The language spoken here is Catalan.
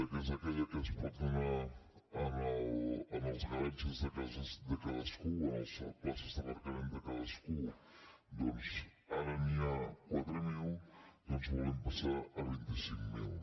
que és aquella que es pot donar en els garatges de cadascú en les places d’aparcament de cadascú ara n’hi ha quatre mil doncs volem passar a vint cinc mil